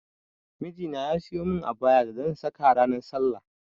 Miji na ya siyo mun abayar da zan saka ranar sallah